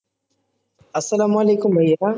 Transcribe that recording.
আসসালামু আলাইকুম ভাইয়া